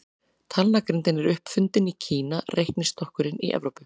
Talnagrindin er upp fundin í Kína, reiknistokkurinn í Evrópu.